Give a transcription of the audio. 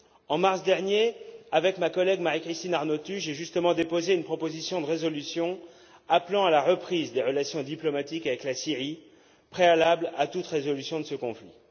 En mars dernier, avec ma collègue Marie Christine Arnautu, j'ai justement déposé une proposition de résolution appelant à la reprise des relations diplomatiques avec la Syrie, préalable à toute résolution de ce conflit.